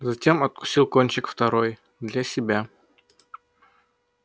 затем откусил кончик второй для себя